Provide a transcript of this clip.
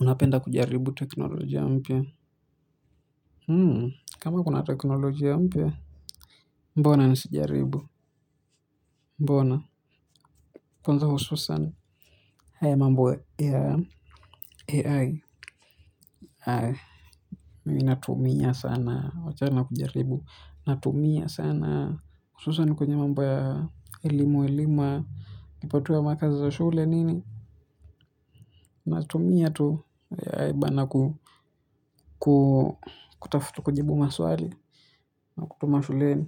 Unapenda kujaribu teknolojia mpya? Kama kuna teknolojia mpya. Mbona nisijaribu? Mbona? Kwanza hususan. Haya mambo ya AI. Mimi natumia sana, wachana na kujaribu. Natumia sana. Hususan kwenye mambo ya elimu elimu. Ukipatiwa makazi za shule nini. Natumia tu AI bana kutafuta kujibu maswali. Na kutuma shuleni.